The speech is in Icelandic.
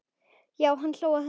Já, hann hló að þessu!